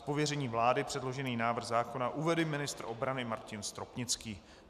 Z pověření vlády předložený návrh zákona uvede ministr obrany Martin Stropnický.